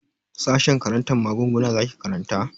Sashen karantar maguguna zaki karanta?